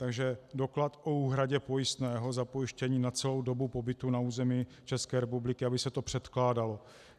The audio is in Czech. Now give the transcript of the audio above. Takže doklad o úhradě pojistného za pojištění na celou dobu pobytu na území České republiky, aby se to předkládalo.